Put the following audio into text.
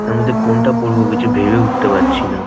এর মধ্যে কোনটা পরব কিছু ভেবে উঠতে পারছি না ।